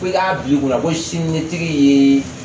Fo i k'a bila i kunna ko siniɲɛsigi ye